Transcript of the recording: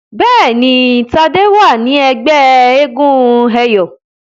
Béèni Tade wá ní ègbé éégun eyọ.